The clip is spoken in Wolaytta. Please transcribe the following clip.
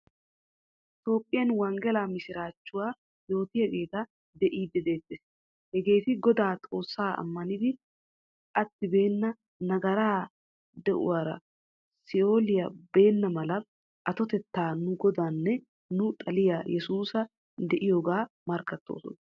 Toophphiyaan wanggelaa misirachchuwaa yootiyageta beidi deetees. Hageetti Goda Xoossaa ammanidi attibena nagara deuwaara sioliyawu beenamala attoettay nu godanne nu xaliyaa yeesusan deiyoga markkattoosona.